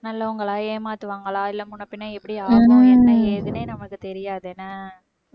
நல்லவங்களா ஏமாத்துவாங்களா இல்லை முன்னபின்ன எப்படி ஆகும் என்ன ஏதுன்னே நமக்கு தெரியாது. ஏன்னா